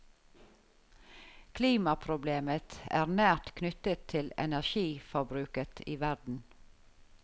Klimaproblemet er nært knyttet til energiforbruket i verden.